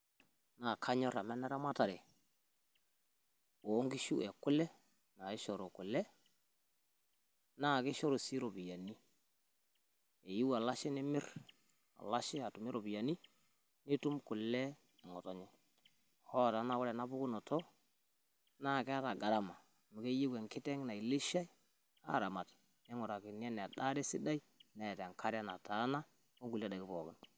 Naa kanyorr amu ene ramatare oo nkishu ekule, naishoru kule naa kishoru sii iropiyiani eiu olashe nimirr olashe atumie iropiyiani nitum kule eng'otonye. Hoo naa ore ena pukunoto naa keeta gharama amu keyieu enkiteng' nailishai aaramata neing'urakini enadaare sidai neeta enkare nataana onkulie daiki pookin.